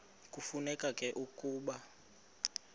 kufuneka ke ukuba